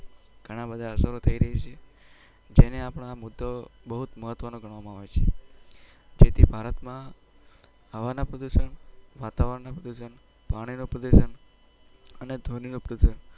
ઘણા બધા અસરો થઇ રહી છે જેને અપના મુદ્દો બહુત મહત્વ નો ગણવામો આવે છે જેથી ભારત માં હવા ના પ્રદુસન